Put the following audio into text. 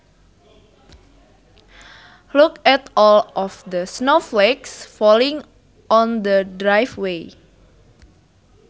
Look at all of the snowflakes falling on the driveway